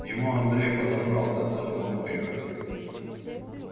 его андрей подобрал который морпех